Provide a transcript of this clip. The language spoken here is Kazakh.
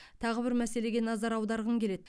тағы бір мәселеге назар аударғым келеді